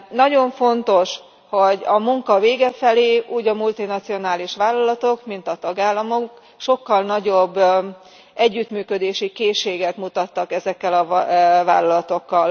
Nagyon fontos, hogy a munka vége felé úgy a multinacionális vállalatok, mint a tagállamok, sokkal nagyobb együttműködési készséget mutattak ezekkel a vállalatokkal.